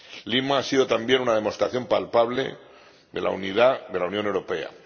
Lima ha sido también una demostración palpable de la unidad de la Unión Europea.